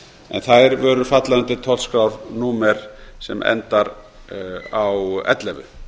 en þær vörur falla undir tollskrárnúmer sem endar á ellefu